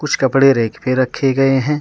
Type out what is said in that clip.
कुछ कपड़े रैक पे रखे गए हैं।